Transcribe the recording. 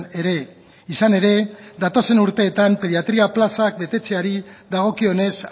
ere izan ere datozen urteetan pediatria plazak betetzeari dagokionez